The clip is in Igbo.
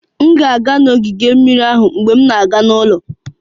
M ga-aga ogige mmiri mgbe m na-aga n'ụlọ